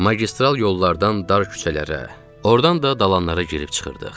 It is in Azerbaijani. Magistral yollardan dar küçələrə, ordan da dalanlara girib çıxırdıq.